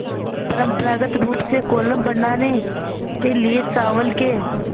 परम्परागत रूप से कोलम बनाने के लिए चावल के